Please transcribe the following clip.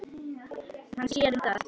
Hann sér um það.